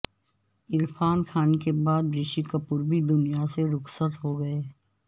عرفان خان کے بعد رشی کپور بھی دنیا سے رخصت ہو گئے